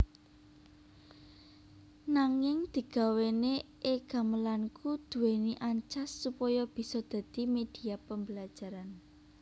Nanging digawéne e gamelanKu duwéni ancas supaya bisa dadi media pembelajaran